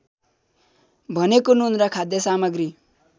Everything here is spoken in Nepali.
भनेको नुन र खाद्यसामग्री